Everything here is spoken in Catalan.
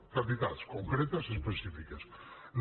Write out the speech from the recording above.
quantitats concretes específiques no